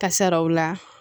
Kasaraw la